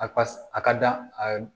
A ka a ka da a